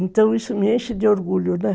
Então isso me enche de orgulho, né?